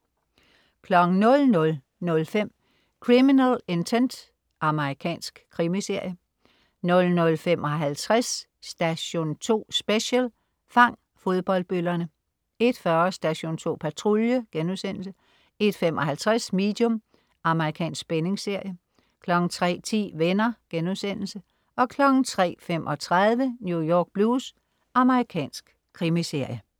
00.05 Criminal Intent. Amerikansk krimiserie 00.55 Station 2 Special: Fang fodboldbøllerne* 01.40 Station 2 Patrulje* 01.55 Medium. Amerikansk spændingsserie 03.10 Venner* 03.35 New York Blues. Amerikansk krimiserie